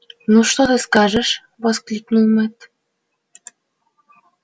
ну что ты скажешь воскликнул мэтт